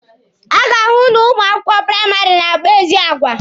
A ga-ahụ na ụmụ akwụkwọ praịmarị na-akpa ezi agwa.